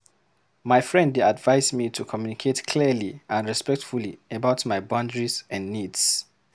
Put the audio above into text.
My friend dey advise me to communicate clearly and respectfully about my boundaries and needs.